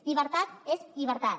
llibertat és llibertat